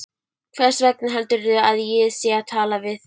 Hversvegna heldurðu að ég sé að tala við þig.